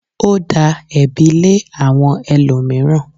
Ó da ẹ̀bi lé àwọn ẹlòmíràn.